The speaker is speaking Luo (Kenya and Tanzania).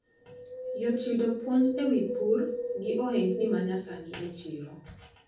Yot yudo puonj ewi pur gi ohendni manyasani e chiro.